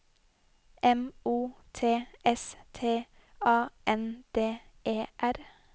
M O T S T A N D E R